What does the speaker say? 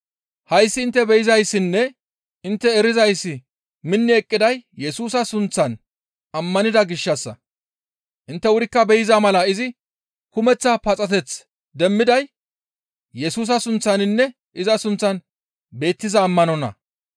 Hayssi intte be7izayssinne intte erizayssi minni eqqiday Yesusa sunththan ammanida gishshassa; intte wurikka be7iza mala izi kumeththa paxateth demmiday Yesusa sunththaninne iza sunththan beettiza ammanonna.